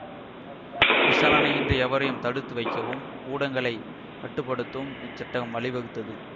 விசாரணையின்றி எவரையும் தடுத்து வைக்கவும் ஊடகங்களைக் கட்டு படுத்தவும் இச்சட்டகம் வழிவகுத்தது